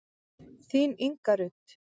Þín Inga Rut.